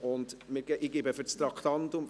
– Sprechen Sie gleich zu beiden Traktanden?